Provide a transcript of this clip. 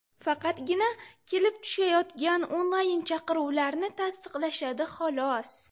Faqatgina kelib tushayotgan onlayn-chaqiruvlarni tasdiqlashadi, xolos.